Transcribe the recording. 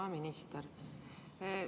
Hea minister!